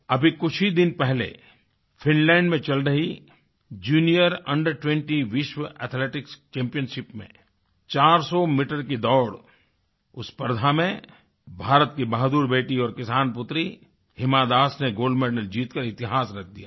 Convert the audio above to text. अभी कुछ ही दिन पहले फिनलैंड में चल रही जूनियर अंडर20 विश्व एथेलेटिक्स चैम्पियनशिप में 400 मीटर की दौड़ उस स्पर्धा में भारत की बहादुर बेटी और किसान पुत्री हिमा दास ने गोल्ड मेडल जीतकर इतिहास रच दिया है